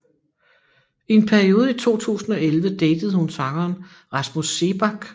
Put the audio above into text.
I en periode i 2011 datede hun sangeren Rasmus Seebach